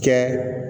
Kɛ